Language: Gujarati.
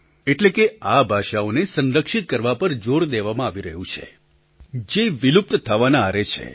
એટલે કે આ ભાષાઓને સંરક્ષિત કરવા પર જોર દેવામાં આવી રહ્યું છે જે વિલુપ્ત થવાના આરે છે